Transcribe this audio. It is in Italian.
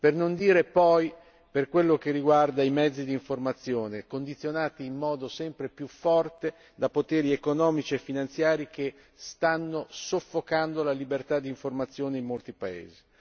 Per non dire poi di quello che riguarda i mezzi d'informazione, condizionati in modo sempre più forte da poteri economici e finanziari che stanno soffocando la libertà d'informazione in molti paesi.